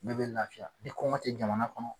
Bɛɛ bɛ lafiya ni kɔngɔ tɛ jamana kɔnɔ.